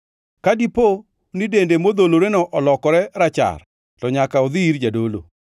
Ka dipo ni dende modholoreno olokore rachar, to nyaka odhi ir jadolo.